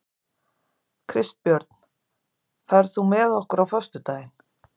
Kristbjörn, ferð þú með okkur á föstudaginn?